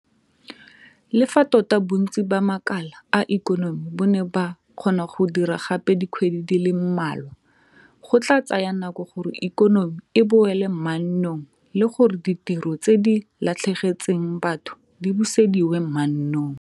Le fa tota bontsi ba makala a ikonomi bo ne ba kgona go dira gape dikgwedi di le mmalwa, go tla tsaya nako gore ikonomi e boele mannong le gore ditiro tse di latlhegetseng batho di busediwe mannong.